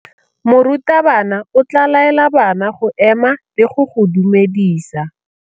Morutabana o tla laela bana go ema le go go dumedisa.